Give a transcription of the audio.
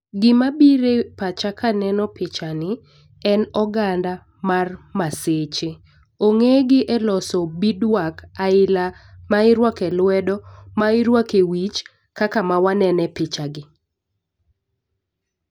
Gima bire pacha kaneno picha ni en oganda mar maseche .Ong'e gi eloso beadwork aila ma irwake lwedo, ma irwake wich kaka ma wanene picha gi.